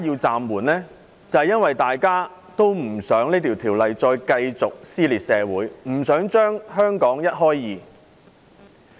正正因為大家不想條例的修訂繼續撕裂社會，不想把香港一開為二。